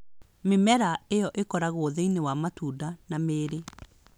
Mĩmera ĩyo ĩkoragwo thĩinĩ wa matunda na mĩri